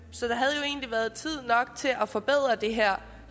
så der havde egentlig været tid nok til at forbedre det her